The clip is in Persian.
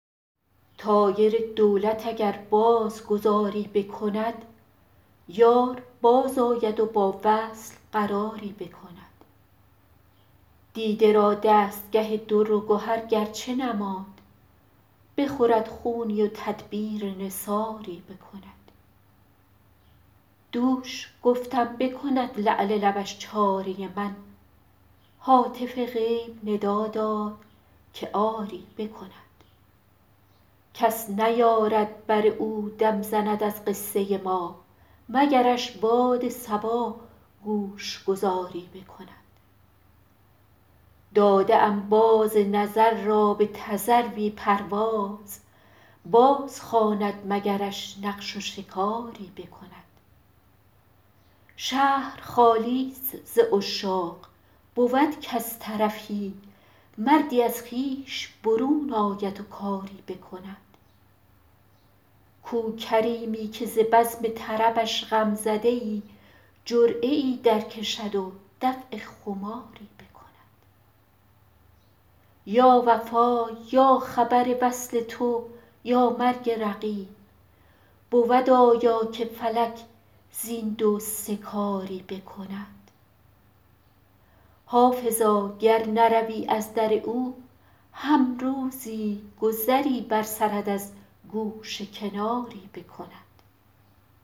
طایر دولت اگر باز گذاری بکند یار بازآید و با وصل قراری بکند دیده را دستگه در و گهر گر چه نماند بخورد خونی و تدبیر نثاری بکند دوش گفتم بکند لعل لبش چاره من هاتف غیب ندا داد که آری بکند کس نیارد بر او دم زند از قصه ما مگرش باد صبا گوش گذاری بکند داده ام باز نظر را به تذروی پرواز بازخواند مگرش نقش و شکاری بکند شهر خالی ست ز عشاق بود کز طرفی مردی از خویش برون آید و کاری بکند کو کریمی که ز بزم طربش غم زده ای جرعه ای درکشد و دفع خماری بکند یا وفا یا خبر وصل تو یا مرگ رقیب بود آیا که فلک زین دو سه کاری بکند حافظا گر نروی از در او هم روزی گذری بر سرت از گوشه کناری بکند